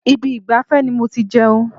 Ibi ìgbafẹ́ ni mo ti jẹun.